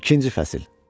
İkinci fəsil.